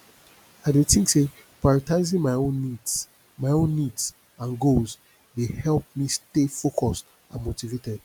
i dey think say prioritizing my own needs my own needs and goals dey help me stay focused and motivated